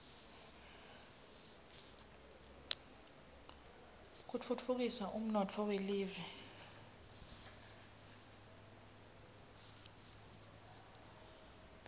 kutfutfukisa umnotfo welive